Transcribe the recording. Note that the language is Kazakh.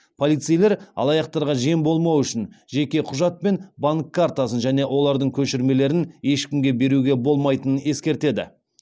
полицейлер алаяқтарға жем болмау үшін жеке құжат пен банк картасын және олардың көшірмелерін ешкімге беруге болмайтынын ескертеді